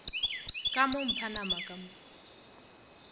ka mo mphanama ka mo